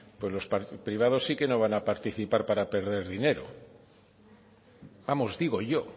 pues los privados sí que no van a participar para perder dinero vamos digo yo